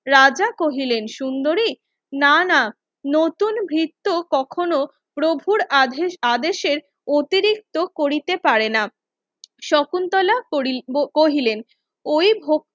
রাজা কহিলেন সুন্দরী নানা নতুন ভৃত্য কখনো প্রভুর আদেশ আদেশের অতিরিক্ত করিতে পারেনা শকুন্তলা কহিলেন ওই ভোক